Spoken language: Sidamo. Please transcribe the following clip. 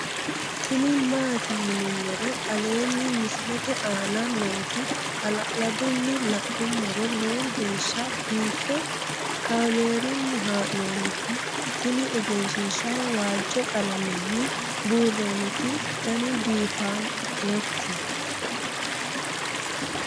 tini maati yinummoro aleenni misilete aana nooti hala'ladunni la'nummoro lowo geeshsha biiffe kaamerunni haa'nooniti tini egenshshiishaho waajjo qalamenni buurronniti danbiiffannoti